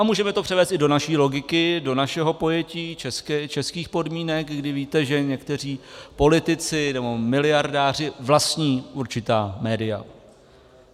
A můžeme to převést i do naší logiky, do našeho pojetí českých podmínek, kdy víte, že někteří politici nebo miliardáři vlastní určitá média.